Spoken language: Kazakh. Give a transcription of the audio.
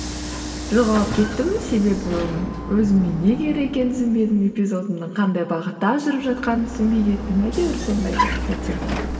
жоғалып кеттім себебі өзіме не керек екенім түсінбедім эпизодымның қандай бағытта жүріп жатқанын түсінбей кеттім әйтеуір сондай бір сәттер болды